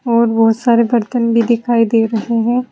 और बहुत सारे बर्तन भी दिखाई दे रहे है।